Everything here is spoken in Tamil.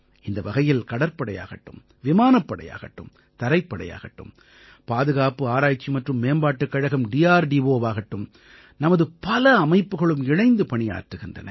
இந்த வகையில் கடற்படையாகட்டும் விமானப்படையாகட்டும் தரைப்படையாகட்டும் பாதுகாப்பு ஆராய்ச்சி மற்றும் மேம்பாட்டுக் கழகம்DRDOவாகட்டும் நமது பல அமைப்புகளும் இணைந்து பணியாற்றுகின்றன